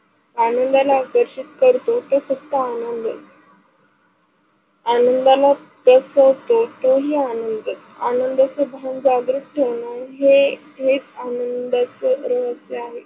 आनंदाला प्रसिक करतो ते फक्त आनंद. आनंदाला पोजातोही आनंद, आनंदाच भान जागृत ठेवणं हेच आनंदच रहस्य आहे.